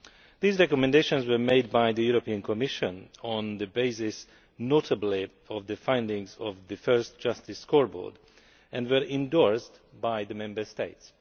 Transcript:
These recommendations were made by the Commission on the basis, notably, of the findings of the first Justice Scoreboard, and were endorsed by the Member States.